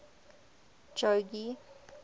jogee